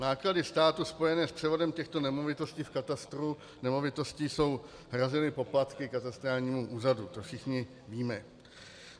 Náklady státu spojené s převodem těchto nemovitostí v katastru nemovitostí jsou hrazeny poplatky katastrálnímu úřadu, to všichni víme.